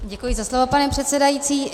Děkuji za slovo, pane předsedající.